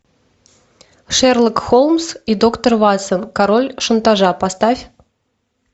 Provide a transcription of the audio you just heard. шерлок холмс и доктор ватсон король шантажа поставь